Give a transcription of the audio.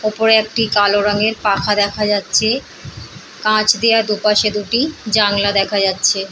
উপরে একটি কালো রং এর পাখা দেখা যাচ্ছে কাছ দিয়া দুপাশে দুটি জানলা দেখা যাচ্ছে।